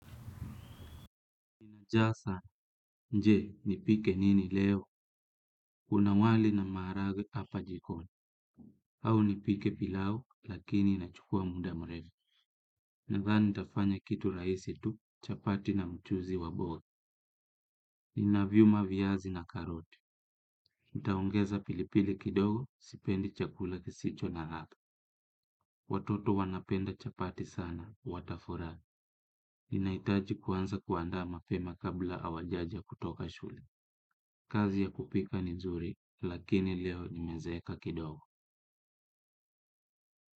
Nina njaa sana, je, nipike nini leo, kuna wali na maharagwe hapa jikoni, au nipike pilau, lakini inachukua muda mrefu. Nadhani nitafanya kitu rahisi tu, chapati na mchuzi wa bote. Ninaviuma viazi na karoti. Nitaongeza pilipili kidogo, sipendi chakula kisicho na ladha. Watoto wanapenda chapati sana, watafurahi. Ninahitaji kuanza kuandaa mapema kabla hawajaja kutoka shule. Kazi ya kupika ni zuri, lakini leo nimezeeka kidogo.